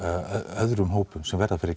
öðrum hópum sem verða fyrir